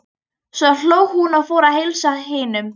Svo hló hún og fór að heilsa hinum.